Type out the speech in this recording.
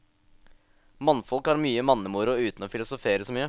Mannfolk har mye mannemoro uten å filosofere så mye.